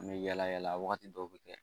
An bɛ yala yala wagati dɔw bɛ kɛ